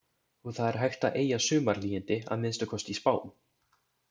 Og það er hægt að eygja sumarhlýindi, að minnsta kosti í spám.